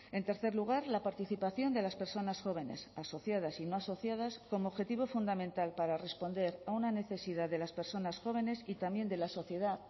en tercer lugar la participación de las personas jóvenes asociadas y no asociadas como objetivo fundamental para responder a una necesidad de las personas jóvenes y también de la sociedad